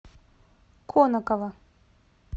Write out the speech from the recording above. конаково